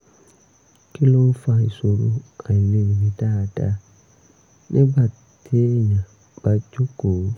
kí ló ń fa ìṣòro àìlèmí dáadáa nígbà téèyàn bá jókòó?